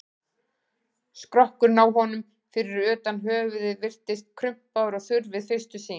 Skrokkurinn á honum, fyrir utan höfuðið, virðist krumpaður og þurr við fyrstu sýn.